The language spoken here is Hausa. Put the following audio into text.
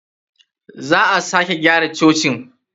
Za a sake gyara cocin.